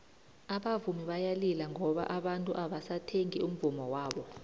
abavumi bayalila ngoba abantu abasathengi umvummo wabo